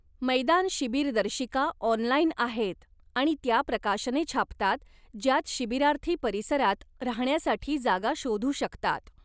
मैदानशिबिर दर्शिका ऑनलाइन आहेत आणि त्या प्रकाशने छापतात ज्यात शिबिरार्थी परिसरात राहण्यासाठी जागा शोधू शकतात.